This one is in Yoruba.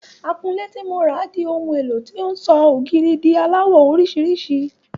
Akunlé ti mo rà di ohun éló tó ń sọ ògiri lásán di aláwọ̀ orísìírísìí.